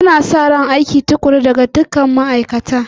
Ana sa ran aiki tukuru daga dukkan ma'aikata